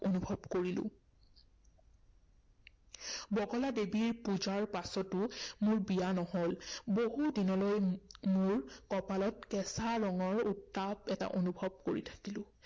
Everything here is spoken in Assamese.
অনুভৱ কৰিলো। বগলা দেৱীৰ পূজাৰ পাছতো মোৰ বিয়া নহল। বহুদিনলৈ মই মোৰ কপালত কেঁচা তেজৰ উত্তাপ এটা অনুভৱ কৰি থাকিলো